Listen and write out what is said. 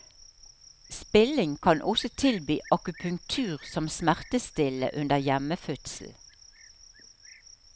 Spilling kan også tilby akupunktur som smertestillende under hjemmefødsel.